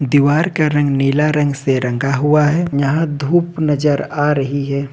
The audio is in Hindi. दीवार का रंग नीला रंग से रंगा हुआ है यहां धूप नजर आ रही है।